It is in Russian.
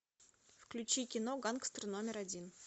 включи кино гангстер номер один